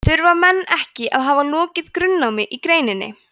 þurfa menn ekki að hafa lokið grunnnámi í greininni